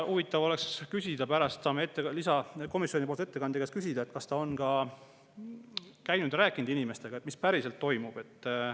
Huvitav oleks küsida, pärast saamegi komisjoni ettekandja käest küsida, kas ta on ka käinud ja rääkinud inimestega sellest, mis päriselt toimub.